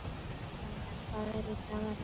Ronja, hvað er í dagatalinu mínu í dag?